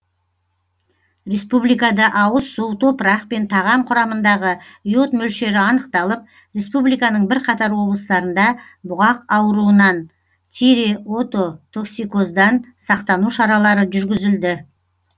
республикада ауыз су топырақ пен тағам құрамындағы йод мөлшері анықталып республиканың бірқатар облыстарында бұғақ ауруынан тиреотоксикоздан сақтану шаралары жүргізілді